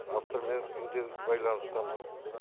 автормен күнде байланыстамыз